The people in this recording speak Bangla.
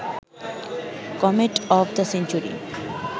comet of the century